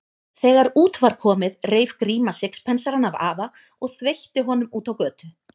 Þegar út var komið reif Gríma sixpensarann af afa og þveitti honum út á götu.